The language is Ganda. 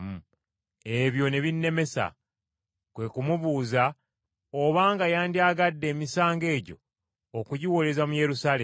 Ebyo ne binnemesa. Kwe ku mubuuza obanga yandyagadde emisango egyo okugiwoleza mu Yerusaalemi.